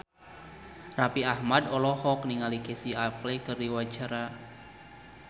Raffi Ahmad olohok ningali Casey Affleck keur diwawancara